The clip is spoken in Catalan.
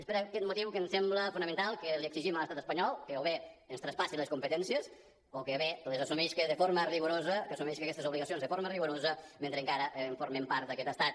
és per aquest motiu que ens sembla fonamental que li exigim a l’estat espanyol que o bé ens traspassi les competències o bé que les assumisca de forma rigorosa que assumisca aquestes obligacions de forma rigorosa mentre encara formem part d’aquest estat